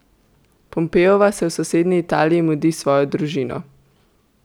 Pompeova se v sosednji Italiji mudi s svojo družino.